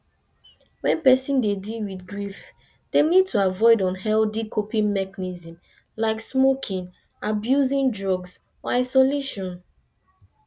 when person dey deal with grief dem need to avoid unhealthy coping mechnism like smoking abusing drugs or isolation